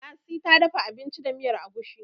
lasi ta dafa abinci da miyar agushi